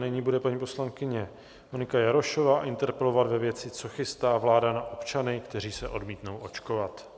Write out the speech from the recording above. Nyní bude paní poslankyně Monika Jarošová interpelovat ve věci, co chystá vláda na občany, kteří se odmítnou očkovat.